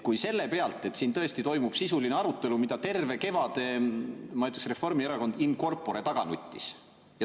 Siin tõesti toimub sisuline arutelu, mida terve kevade, ma ütleksin, Reformierakond in corpore taga nuttis.